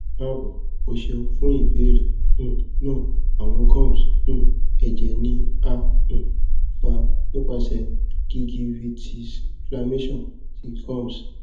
kaabo o ṣeun fun ibeere um naa awọn gums um ẹjẹ ni a um fa nipasẹ gingivitisinflammation ti gums